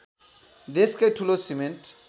देशकै ठूलो सिमेन्ट